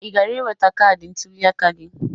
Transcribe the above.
Ị gara iweta kaadị ntụliaka gị?